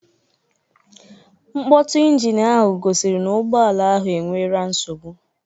Nkpotu ịnginu ahụ gosiri n'ugboala ahụ e nwere nsogbu